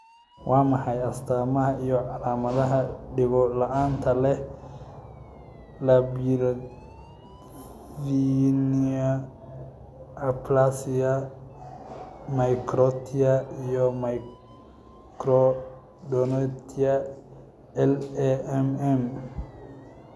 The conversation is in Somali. Waa maxay astaamaha iyo calaamadaha Dhego-la'aanta leh labyrinthine aplasia microtia iyo microdontia (LAMM)?